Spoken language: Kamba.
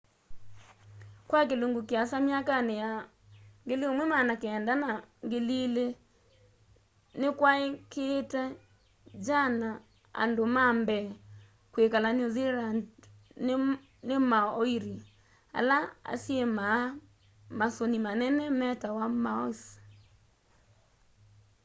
kwa kilungu kiasa myakani ya 1900 na ya 2000 nikwaikiiite jana andu ma mbee kwikala new zealand ni maoiri ala asyimaa masuni manene metawa moas